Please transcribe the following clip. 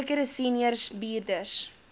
sekere senior bestuurders